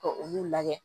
Ka olu lajɛ